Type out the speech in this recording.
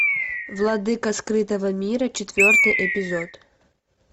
владыка скрытого мира четвертый эпизод